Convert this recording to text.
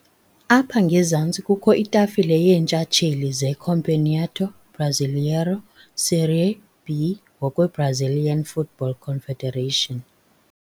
Apha ngezantsi kukho itafile yeentshatsheli zeCampeonato Brasileiro Série B ngokweBrazilian Football Confederation.